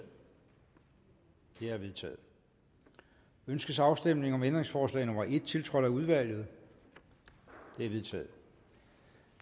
det er vedtaget ønskes afstemning om ændringsforslag nummer en tiltrådt af udvalget det er vedtaget